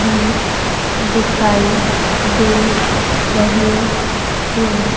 भी दिखाई दे रहे हैं।